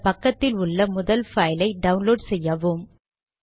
அந்த பக்கத்தில் உள்ள முதல் பைலை டவுன்லோட் செய்யவும்